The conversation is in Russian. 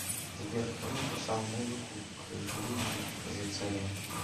сбер кто написал музыку к жизнь за царя